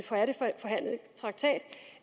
traktat